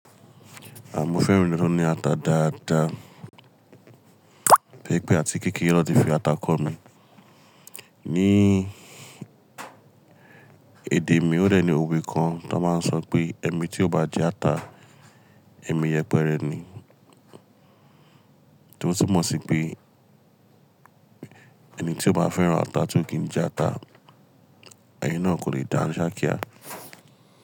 Mọ́ fẹ́ràn ounje tó ní ata dáadáa, tori pé àti kékèré ni wón ti fi ata kọ mí. Ní èdè mi ó dẹ ní òwe kan ti wón máa ń sọ pé "ẹmi tí ó bá jẹ ata, ẹmi yẹpẹrẹ ni." Tio tumọ̀ sí pé ẹni tí ó bá fẹ́ran ata tio kì n jẹ ata, ẹni náà kò lè dáńṣá kíá.